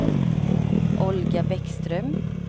Olga Bäckström